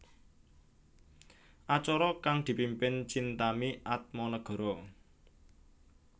Acara kang dipimpin Chintami Atmanegara